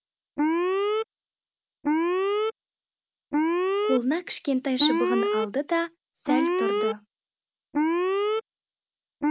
қолына кішкентай шыбығын алды да сәл тұрды